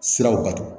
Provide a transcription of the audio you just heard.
Siraw bato